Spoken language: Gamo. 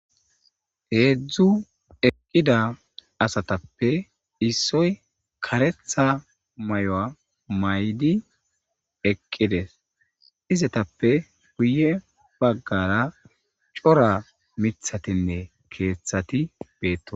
Hezdzdu eqida asatappe issoyi karetha mayuwa mayid eqides, ezetappe guye bagara cora mithatinne keethati betosona.